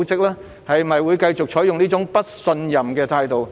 是否會繼續採取這麼不信任的態度？